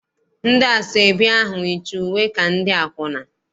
Ndị asọebi ahụ yicha uwe ka ndị akwụna.